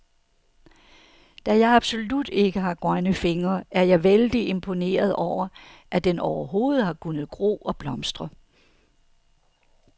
Da jeg absolut ikke har grønne fingre, er jeg vældig imponeret over, at den overhovedet har kunnet gro og blomstre.